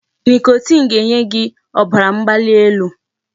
Nicotine ga-enye gị ọbara mgbali elu.